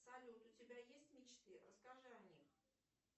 салют у тебя есть мечты расскажи о них